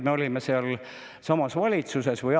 Või oli see aasta tagasi?